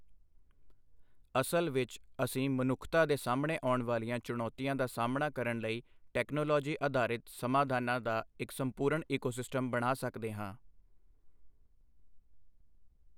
ਅਸਲ ਵਿੱਚ, ਅਸੀਂ ਮਨੁੱਖਤਾ ਦੇ ਸਾਹਮਣੇ ਆਉਣ ਵਾਲੀਆਂ ਚੁਣੌਤੀਆਂ ਦਾ ਸਾਹਮਣਾ ਕਰਨ ਲਈ ਟੈਕਨੋਲੋਜੀ ਅਧਾਰਿਤ ਸਮਾਧਾਨਾਂ ਦਾ ਇੱਕ ਸੰਪੂਰਣ ਈਕੋਸਿਸਟਮ ਬਣਾ ਸਕਦੇ ਹਾਂ।